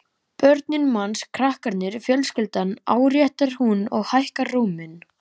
Börnin manns, krakkarnir, fjölskyldan, áréttar hún og hækkar róminn.